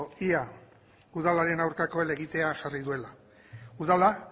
ea udalaren aurkako helegitea jarri duela udala